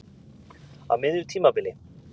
Á miðju tímabili?